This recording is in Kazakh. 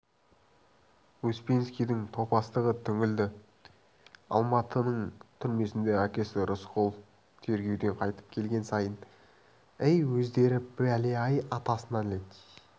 успенскийдің топастығынан түңілді алматының түрмесінде әкесі рысқұл тергеуден қайтып келген сайын әй өздері бәле-ай атасына нәлет